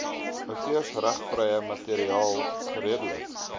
outeursregvrye materiaal geredelik